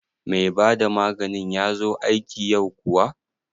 Mai bada maganin ya zo aiki yau kuwa?